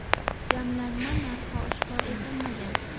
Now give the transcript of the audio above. Jamlanma narxi oshkor etilmagan.